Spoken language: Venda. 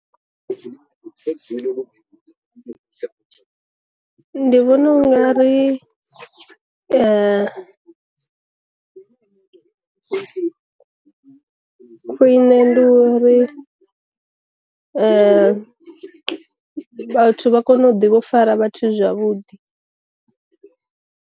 Ndi vhona u nga ri khwiṋe ndi uri vhathu vha kone u ḓivho u fara vhathu zwavhuḓi.